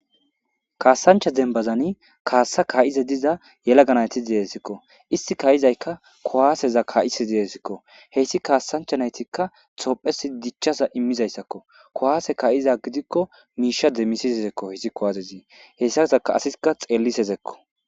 Kaassancha denbazani kaassa kaa'ize diza yelaganayti diesikko isti ka'izaykka kuwaaseza kaa'ise deezikko heyssi kaassanchanaytikka xophesi dichchaza immizayssakko kuwaase kaa'iza gidikko miisha demmisisezekko hizikko aazezii hessa saka asika xeellisezekko.